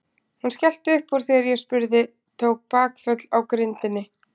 Hún skellti upp úr þegar ég spurði, tók bakföll á grindinni.